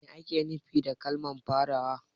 Me ake nufi da kalmar farawa?